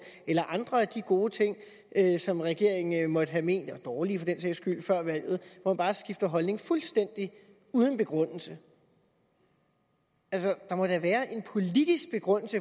eller andre af de gode ting som regeringen måtte have ment var dårlige for den sags skyld før valget og bare skifter holdning fuldstændig uden begrundelse altså der må da være en politisk begrundelse